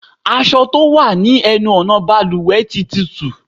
Aṣọ tó wà ní ẹnu ọ̀nà bàlùwẹ̀ tí túútúú.